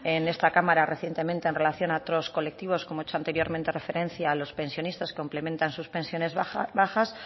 en esta cámara recientemente en relación a otros colectivos como he hecho anteriormente referencia a los pensionista que complementan sus pensiones bajas